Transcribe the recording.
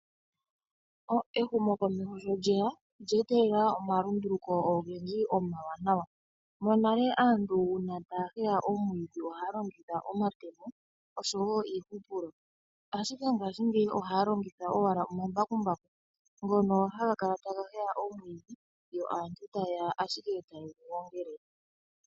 Ehumokomeho sho lyeya olyeetelela omalunduluko ogendji omawanawa. Monale aantu uuna taya heya omwiidhi ohaya longitha omatemo osho woo uuhupilo. Mongaashingeyi ohaya longitha owala omambakumbaku ngono haga ga heya omwiidhi yo aantu taye ya ashike yegu gongele.